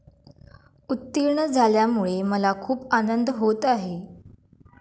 उत्तीर्ण झाल्यामुळे मला खूप आनंद होत आहे.